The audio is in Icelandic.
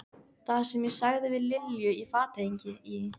Það, sem ég sagði við Lilju í fatahenginu í